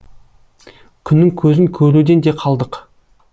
күннің көзін көруден де қалдық